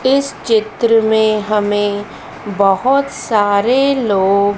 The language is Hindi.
इस चित्र में हमें बहुत सारे लोग--